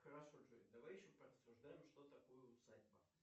хорошо джой давай еще порассуждаем что такое усадьба